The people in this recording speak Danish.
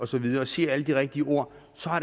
så videre og siger alle de rigtige ord